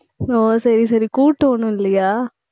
ஓ சரி சரி கூட்டு ஒண்ணும் இல்லையா